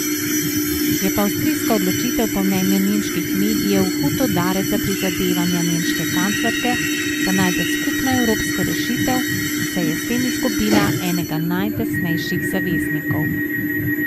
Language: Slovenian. Je pa avstrijska odločitev po mnenju nemških medijev hud udarec za prizadevanja nemške kanclerke, da najde skupno evropsko rešitev, saj je s tem izgubila enega najtesnejših zaveznikov.